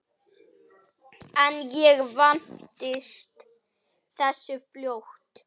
En ég vandist þessu fljótt.